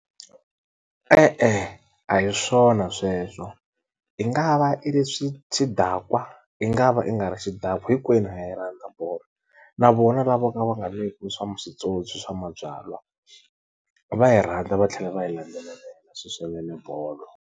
E-e a hi swona sweswo i nga va i ri xidakwa i nga va i nga ri xidakwa hinkwenu a ha yi rhandza bolo na vona lavo ka va nga nweki le swa swipyopyi swa mabyala va yi rhandza va tlhela va yi landzelela swinene bolo.